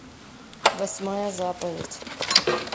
восьмая заповедь